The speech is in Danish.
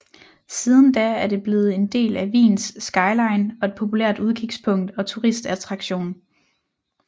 Siden da er det blevet en del af Wiens skyline og et populært udkigspunkt og turistattraktion